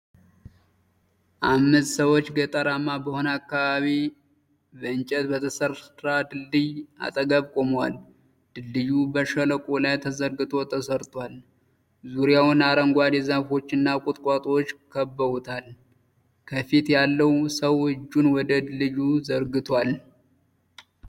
አምስት ሰዎች ገጠራማ በሆነ አካባቢ በእንጨት በተሠራ ድልድይ አጠገብ ቆመዋል። ድልድዩ በሸለቆው ላይ ተዘርግቶ ተሰርቷል፣ ዙሪያውን አረንጓዴ ዛፎች እና ቁጥቋጦዎች ከበውታል። ከፊት ያለው ሰው እጁን ወደ ድልድዩ ዘርግቷል።